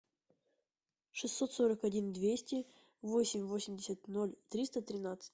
шестьсот сорок один двести восемь восемьдесят ноль триста тринадцать